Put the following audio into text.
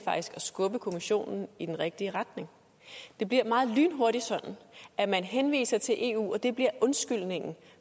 skubbe kommissionen i den rigtige retning det bliver lynhurtigt sådan at man henviser til eu og at det bliver undskyldningen